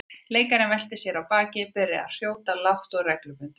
Leikarinn velti sér á bakið og byrjaði að hrjóta lágt og reglubundið.